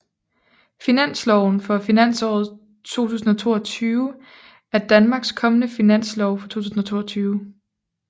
Finansloven for finansåret 2022 er Danmarks kommende finanslov for 2022